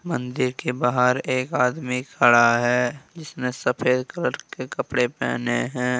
मंदिर के बाहर एक आदमी खड़ा है जिसने सफेद कलर के कपड़े पहने हैं।